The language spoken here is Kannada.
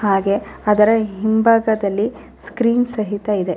ಹಾಗೆ ಅದರ ಹಿಂಭಾಗದಲ್ಲಿ ಸ್ಕ್ರೀನ್ ಸಹಿತ ಇದೆ.